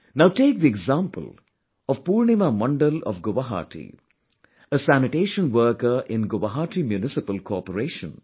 Now take the example of Purnima Mandal of Guwahati, a sanitation worker in Guwahati Municipal Corporation